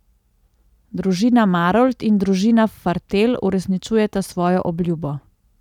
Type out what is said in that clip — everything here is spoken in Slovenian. Družina Marolt in družina Fartelj uresničujeta svojo obljubo.